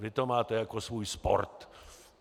Vy to máte jako svůj sport.